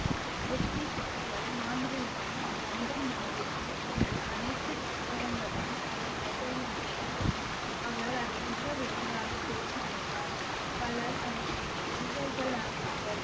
மாந்திரீகம், ஜந்தன் மந்திரம் என்று அனைத்து புத்தகங்களும் அவர் கைகளில் வந்தன அவர் அதை மிக விரைவாக தேர்ச்சி பெற்றார் பலர் அவருடைய சீடர்கள் ஆனார்கள்